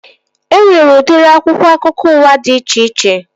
E nwere udiri akwụkwọ akụkọ ụwa dị iche iche